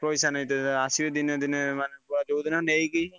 ପଇସା ନେଇତେ ଆସିବେ ଦିନେ ଦିନେ ମା~ ଯୋଉଦିନ ନେଇକି ।